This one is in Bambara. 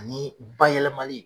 Ani bayɛlɛmali